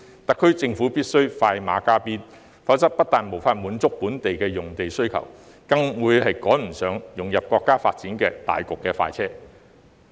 特區政府必須快馬加鞭，否則不但無法滿足本地的用地需求，更會趕不上融入國家發展大局的快車。